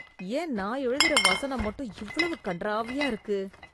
ஏன் நான் எழுதுற வசனம் மட்டும் இவ்வளவு கன்றாவியா இருக்கு!